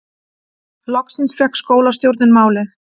Loksins fékk skólastjórinn málið